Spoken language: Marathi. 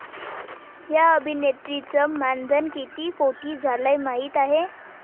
या' अभिनेत्रीचं मानधन किती कोटी झालंय माहीत आहे?